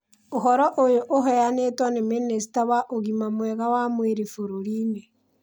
Ũhoro ũyũ ũheanĩtwo nĩ minista wa ũgima mwega wa mwĩrĩ bũrũri-inĩ.